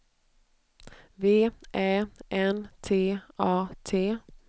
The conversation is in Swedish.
V Ä N T A T